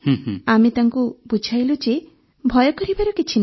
ଆମେ ତାଙ୍କୁ ବୁଝାଇଲୁ ଯେ ଭୟ କରିବାର କିଛି ନାହିଁ